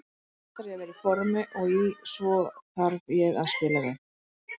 Fyrst þarf ég að vera í formi og í svo þarf ég að spila vel.